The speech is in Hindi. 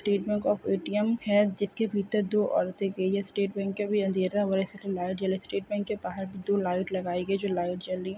स्टेट बैंक ऑफ़ ए_टी_एम है जिसके भीतर दो औरतें गई है स्टेट बैंक के आगे अंधेरा है जैसे कि लाइट जल रहा है स्टेट बैंक के बाहर भी दो लाइट लगाई गई है जो लाइट जल रही है।